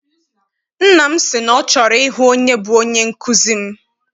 Nna m si na ọ chọrọ ịhụ onye bụ onye nkụzi m.